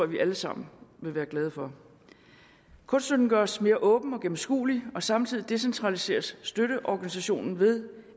vi alle sammen vil være glade for kunststøtten gøres mere åben og gennemskuelig og samtidig decentraliseres støtteorganisationen ved